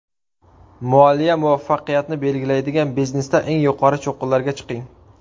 Moliya muvaffaqiyatni belgilaydi biznesda eng yuqori cho‘qqilarga chiqing!.